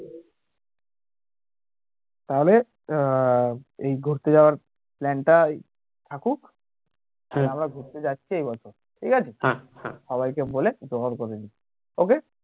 তাহলে আহ এই ঘুরতে যাওয়ার plan টাই থাকুক তাহলে আমরা ঘুরতে যাচ্ছি এই বছর ঠিক আছে সবাই কে বলে জোগাড় করে নিস্ okay